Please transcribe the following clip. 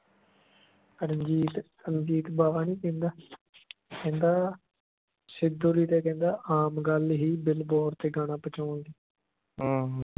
ਰਣਜੀਤ ਰਣਜੀਤ ਬਾਵਾ ਨਹੀਂ ਕਹਿੰਦਾ ਕਹਿੰਦਾ ਸਿੱਧੂ ਦੀ ਤਾਂ ਕਹਿੰਦਾ ਆਮ ਗੱਲ ਹੀ billboard ਤੇ ਗਾਣਾ ਪਹਚੋਣ ਦੀ